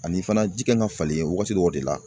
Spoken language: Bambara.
Ani fana ji kan ka falen wagati dɔw de la